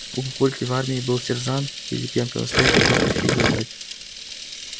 у папульки в армии был сержант пилипенко настоящий поставщик задач